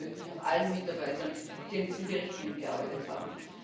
Danken möchte ich auch allen Mitarbeitern, die an diesem Bericht mitgearbeitet haben.